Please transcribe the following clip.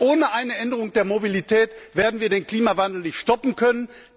Denn ohne eine Änderung der Mobilität werden wir den Klimawandel nicht stoppen können.